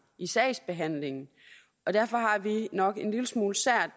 i sagsbehandlingen og derfor har vi nok en lille smule